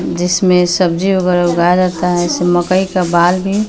जिसमें सब्जी वगैरह उगाया जाता है मकई का बाल भी।